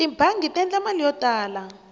tibangi ti endla mali yo tala